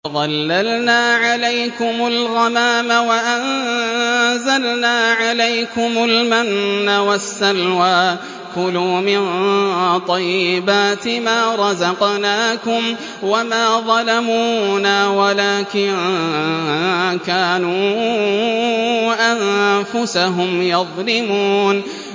وَظَلَّلْنَا عَلَيْكُمُ الْغَمَامَ وَأَنزَلْنَا عَلَيْكُمُ الْمَنَّ وَالسَّلْوَىٰ ۖ كُلُوا مِن طَيِّبَاتِ مَا رَزَقْنَاكُمْ ۖ وَمَا ظَلَمُونَا وَلَٰكِن كَانُوا أَنفُسَهُمْ يَظْلِمُونَ